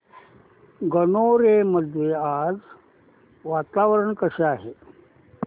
गणोरे मध्ये आज वातावरण कसे आहे